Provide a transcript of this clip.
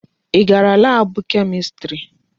Ị gara laabụ Kemistri?